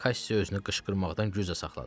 Kassi özünü qışqırmaqdan güclə saxladı.